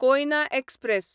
Koyna express